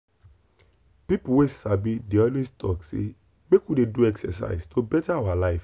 people wey sabi dey always talk say make we dey do exercise to better our life.